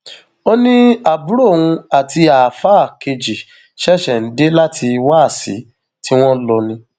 ó ní àbúrò òun àti àáfáà kejì ṣẹṣẹ ń dé láti wáàsí tí wọn lò ni